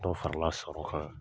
Dɔ farila sɔrɔ kan,